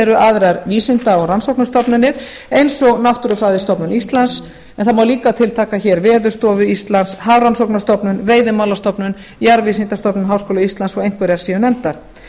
eru aðrar vísinda og rannsóknarstofnanir eins og náttúrufræðistofnun íslands en það má líka tiltaka hér veðurstofu íslands hafrannsóknastofnun veiðimálastofnun jarðvísindastofnun háskóla íslands svo einhverjar séu nefndar